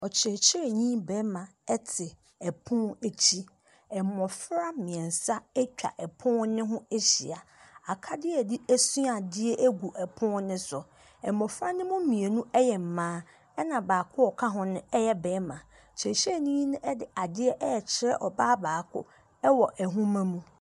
Ɔkyerɛkyerɛni barima te pon a akyi. Mmofra mmiɛnsa atwa pon no ho ahyia. Akadeɛ a yɛde sua adeɛ gu pon no so. Mmofra no mu mmienu yɛ mmaa. Ɛna baako a ɔka ho yɛ barima. Kyerɛkyerɛni no de adeɛ rekyerɛ ɔbaa baako wɔ nwoma mu.